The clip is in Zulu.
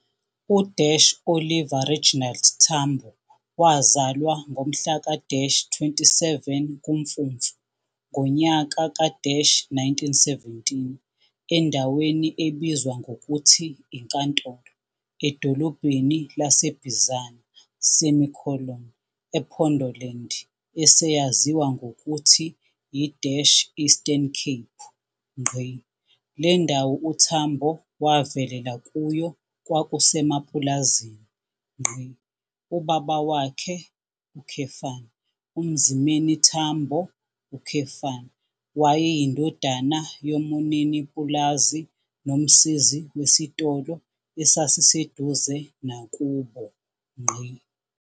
U-Oliver Reginald Tambo wazalwa ngomhlaka-27 kuMfumfu ngonyaka ka-1917 endaweni ebizwa ngokuthi iNkantolo edolobheni laseBizana, ePondoland eseyaziwa ngokuthi y i-Eastern Cape. Lendawo uTambo wavelela kuyo kwakusemapulazini. Ubaba wakhe, uMzimeni Tambo, wayeyindodana yomunini pulazi nomsizi wesitolo esisasiseduze nakubo.